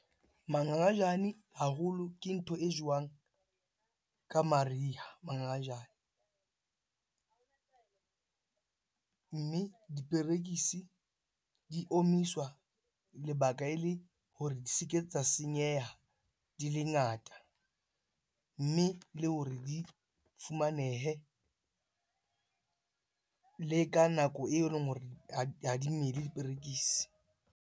Mangangajane haholo ke ntho e jowang ka mariha, mangangajane. Mme diperekisi di omiswa lebaka ele hore di se ke tsa senyeha di le ngata. Mme le hore di fumanehe le ka nako eleng hore ha di mele diperekisi.